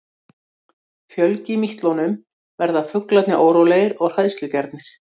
Fjölgi mítlunum verða fuglarnir órólegir og hræðslugjarnir.